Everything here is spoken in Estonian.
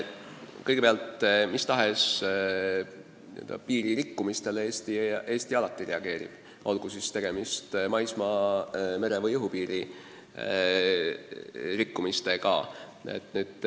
Kõigepealt, mis tahes piiririkkumisele Eesti alati reageerib, olgu tegemist maismaa-, mere- või õhupiiri rikkumistega.